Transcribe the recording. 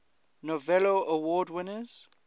novello award winners